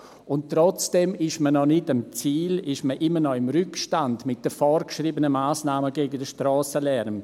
Und trotzdem ist man noch nicht am Ziel, ist man immer noch im Rückstand mit den vorgeschriebenen Massnahmen gegen den Strassenlärm.